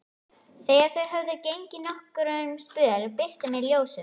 Þegar þau höfðu gengið nokkurn spöl birti meir af ljósum.